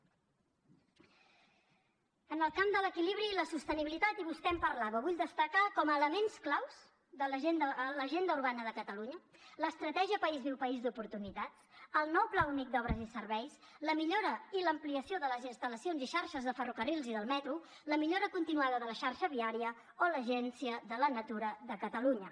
en el camp de l’equilibri i la sostenibilitat i vostè en parlava vull destacar com a elements claus l’agenda urbana de catalunya l’estratègia país viu país d’oportunitats el nou pla únic d’obres i serveis la millora i l’ampliació de les instal·lacions i xarxes de ferrocarrils i del metro la millora continuada de la xarxa viària o l’agència de la natura de catalunya